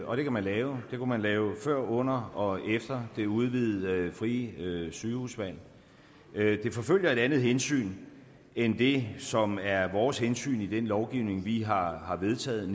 og det kan man lave det kunne man lave før under og efter det udvidede frie sygehusvalg det forfølger et andet hensyn end det som er vores hensyn i den lovgivning vi har har vedtaget